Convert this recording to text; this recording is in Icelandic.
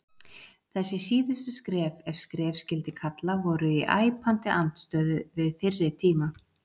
Þessi síðustu skref, ef skref skyldi kalla, voru í æpandi andstöðu við fyrri tíma.